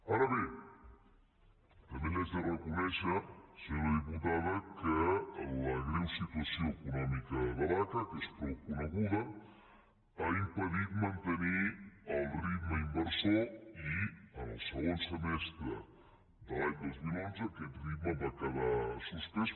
ara bé també li he de reconèixer senyora diputada que la greu situació econòmica de l’aca que és prou coneguda ha impedit mantenir el ritme inversor i en el segon semestre de l’any dos mil onze aquest ritme va quedar suspès